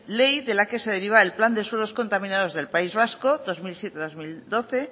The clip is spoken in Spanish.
ley de la que se deriva el plan de suelos contaminados del país vasco dos mil siete dos mil doce